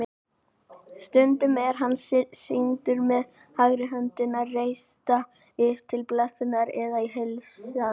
Stundum er hann sýndur með hægri höndina reista upp til blessunar eða í heilsan.